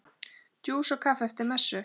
Djús og kaffi eftir messu.